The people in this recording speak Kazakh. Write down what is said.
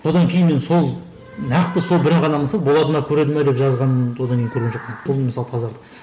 содан кейін мен сол нақты сол бір ақ адам болады ма көреді ме деп жазғанымды одан кейін көрген жоқпын бұл мысалы тазарды